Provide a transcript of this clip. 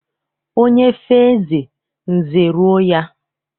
Onye fee eze, nze eruo ya.